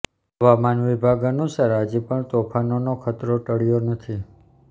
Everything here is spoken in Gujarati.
હવામાન વિભાગ અનુસાર હજી પણ તોફાનનો ખતરો ટળ્યો નથી